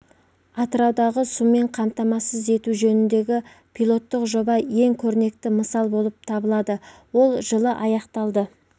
атыраудағы сумен қамтамасыз ету жөніндегі пилоттық жоба ең көрнекі мысал болып табылады ол жылы аяқталды